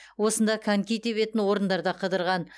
осында коньки тебетін орындарда қыдырған